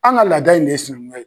An ka laada in de ye sinankunya ye